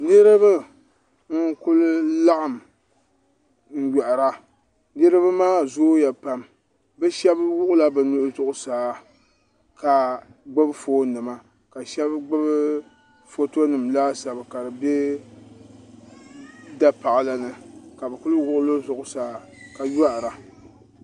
Niriba nkuli laɣim nyoihira niriba maa zooya pam bi ahɛba wuɣila bi nuhi zuɣusaa ka gbubi foon nima ka ahɛba gbubi foto nima laasabu ka di bɛ dapaɣila ni ka bi kuli wuɣil zuɣusaa ka yoihi ra.